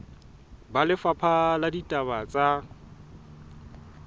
ba lefapha la ditaba tsa